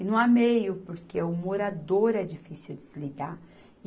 E não há meio, porque o morador é difícil de se lidar.